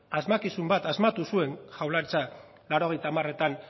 asmakizun bat asmatu zuen jaurlaritzak laurogeita hamaretan